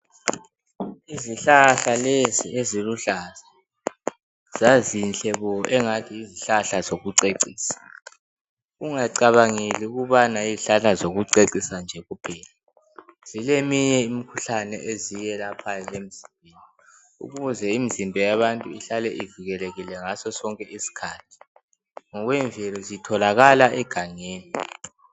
Izihlahla lezi eziluhlaza. Zazinhle bo, engathi yizihlahla zokucecisa. Ungacabangeli ukubanai yizihlahla zokucecisa bje kuphela. Zileminye imikhuhlane eziyelaphayo emzimbeni. Ukuze imizimba yabantu ihlale, ivikelekile ngaso sonke isikhathi. Ngemvelo zitholakala egangeni.